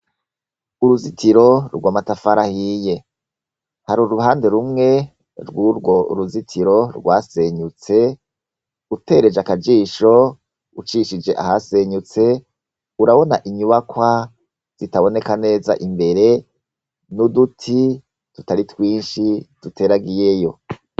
Uruzitiro rw’amatafari ahiye, har’uruhande rumwe rw’urwo ruzitiro gwasenyutse, utereje akajisho , ucishije ahasenyutse, urabona inyubakwa zitaboneka neza imbere, n’uduti tutari twinshi duteragiyeyo.